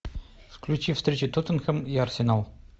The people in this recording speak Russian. включи встречу тоттенхэм и арсенал